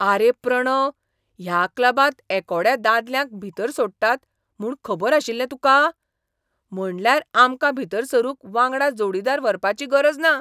आरे प्रणव, ह्या क्लबांत एकोड्या दादल्यांक भितर सोडटात म्हूण खबर आशिल्लें तुका? म्हणल्यार आमकां भितर सरूंक वांगडा जोडीदार व्हरपाची गरज ना!